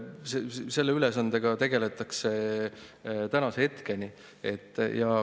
Selle ülesandega tegeletakse tänaseni.